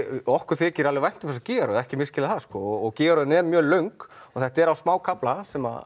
okkur þykir alveg vænt um þessa gígaröð ekki misskilja það gígaröðin er mjög löng og þetta er á smákafla sem